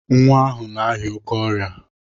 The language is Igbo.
Nwa ahụ na-arịa oké ọrịa.